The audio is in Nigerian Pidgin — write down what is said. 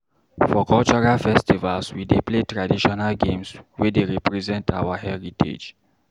For cultural festivals, we dey play traditional games wey dey represent our heritage.